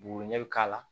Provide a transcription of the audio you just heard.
Buguriɲɛ bi k'a la